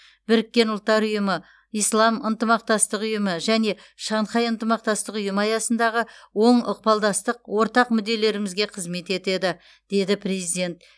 біріккен ұлттар ұйымы ислам ынтымақтастығы ұйымы және шанхай ынтымақтастық ұйымы аясындағы оң ықпалдастық ортақ мүдделерімізге қызмет етеді деді президент